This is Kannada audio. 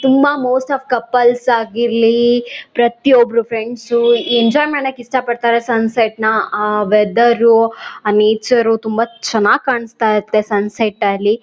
ತುಂಬಾ ಮೋಸ್ಟಾಫ್ ಕಪ್ಪಲ್ಸ್ ಆಗಿರ್ಲಿ ಪ್ರತಿಯೊಬ್ಬರು ಫ್ರೆಂಡ್ಸ್ ಎಂಜಾಯ್ ಮಾಡಕ್ಕೆ ಇಷ್ಟ ಪಡ್ತಾರೆ ಸನ್ಸೆಟ್ ನ ಆ ವೆದರ್ ಆ ನೇಚರ್ ತುಂಬಾ ಚೆನ್ನಾಗಿ ಕಾಣಿಸ್ತಾ ಇರುತ್ತೆ ಸನ್ಸೆಟ್ ಅಲ್ಲಿ.